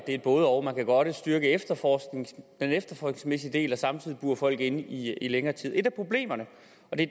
et både og man kan godt styrke den efterforskningsmæssige del samtidig burer folk inde i længere tid et af problemerne